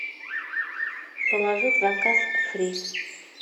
положи в заказ фри